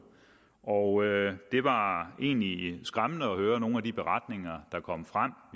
og det var egentlig skræmmende at høre nogle af de beretninger der kom frem